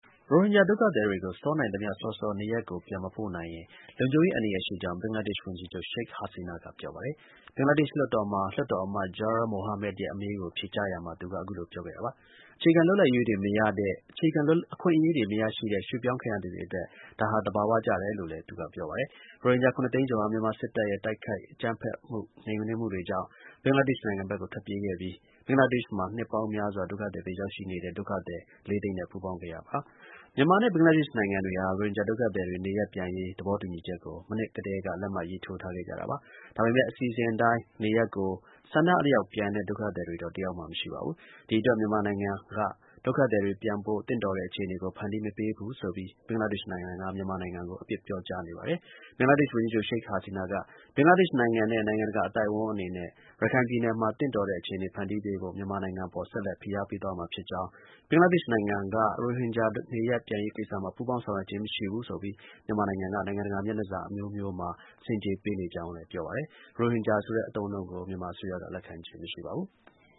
ရိုဟင်ဂျာ ဒုက္ခသည်တွေကို စောနိုင် သမျှ စောစော နေရပ်ကို ပြန် မပို့နိုင်ရင် လုံခြုံရေး အန္တရာယ် ရှိကြောင်း ဘင်္ဂလားဒေ့ရှ် ဝန်ကြီးချုပ် Sheik Hasina က ပြောပါတယ်။ ဘင်္ဂလားဒေ့ရှ် လွှတ်တော်မှာ လွှတ်တော် အမတ် Jur Mohammad ရဲ့ အမေးကို ဖြေကြားရာမှာ သူက အခုလို ပြောခဲ့တာပါ။ အခြေခံ အခွင့်အရေးတွေ မရရှိတဲ့ ရွှေ့ပြောင်းခံရ သူတွေအတွက် ဒါဟာ သဘာဝကျတယ်လို့လည်း ပြောပါတယ်။ ရိုဟင်ဂျာ ၇၀၀,၀၀၀ ကျော်ဟာ မြန်မာစစ်တပ်ရဲ့ တိုက်ခိုက် အကြမ်းဖက်မှုနှိမ်နင်းမှု တွေကြောင့် ဘင်္ဂလားဒေ့ရှ်နိုင်ငံဘက်ကို ထွက်ပြေးခဲ့ပြီး ဘင်္ဂလားဒေ့ရှ်မှာ နှစ်ပေါင်း များစွာ ဒုက္ခသည် အဖြစ်ရောက်ရှိနေသူ ၄ သိန်းနဲ့ ပူးပေါင်း ခဲ့ရပါတယ်။ မြန်မာနဲ့ ဘင်္ဂလားဒေ့ရှ် နိုင်ငံတွေဟာ ရိုဟင်ဂျာ ဒုက္ခသည်တွေ နေရပ်ပြန်ရေး သဘောတူညီချက်ကို မနှစ်ကတည်းက လက်မှတ်ရေးထိုးထားခဲ့ကြ တာပါ။ ဒါပေမဲ့ အစီအစဉ်အတိုင်း နေရပ်ကို ဆန္ဒအလျောက် ပြန်တဲ့ ဒုက္ခသည်တော့ တစ်ယောက်မှ မရှိပါဘူး။ ဒီ အတွက် မြန်မာနိုင်ငံက ဒုက္ခသည်တွေ ပြန်ဖို့ သင့်တော်တဲ့ အခြေအနေကို ဖန်တီး မပေးဘူးဆိုပြီး ဘင်္ဂလားဒေ့ရှ်နိုင်ငံက မြန်မာနိုင်ငံကို အပြစ်ပြောကြားနေပါတယ်။ ဘင်္ဂလားဒေ့ရှ် ဝန်ကြီးချုပ် Sheik Hasina က ဘင်္ဂလားဒေ့ရှ်နိုင်ငံနဲ့ နိုင်ငံတကာ အသိုက်အဝိုင်းအနေနဲ့ ရခိုင်ပြည်နယ်မှာ သင့်တော်တဲ့အခြေအနေ ဖန်တီးပေးဖို့ မြန်မာနိုင်ငံအပေါ် ဆက်လက် ဖိအား ပေးသွားမှာ ဖြစ်ကြောင်း၊ ဘင်္ဂလားဒေ့ရှ်နိုင်ငံက ရိုဟင်ဂျာ နေရပ်ပြန်ရေးကိစ္စမှာ ပူးပေါင်း ဆောင်ရွက်ခြင်း မရှိဘူးဆိုပြီး မြန်မာနိုင်ငံက နိုင်ငံတကာ မျက်နှာစာမှာ ဆင်ခြေပေးနေကြောင်းလည်းပြောပါတယ်။ ရိုဟင်ဂျာဆိုတဲ့ အသုံးအနှုန်းကို မြန်မာ အစိုးရက လက်ခံခြင်း မရှိပါဘူး။